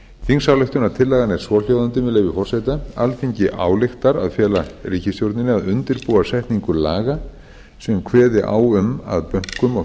þingsályktunartillagan er svohljóðandi með leyfi forseta alþingi ályktar að fela ríkisstjórninni að undirbúa setningu laga sem kveði á um að bönkum og